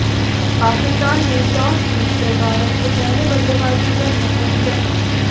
पाकिस्तान ने टॉस जीतकर भारत को पहले बल्लेबाजी का न्यौता दिया था